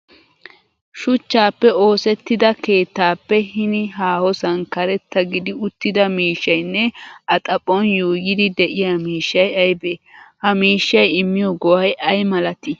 Shuchchaappe ossettida keettaappe hinii haahosaan karetta gidi uttida miishshayinne a xaphon yuuyyidi de'iya miishshay aybee? Ha mishshay immiyo go'ay ay malatii?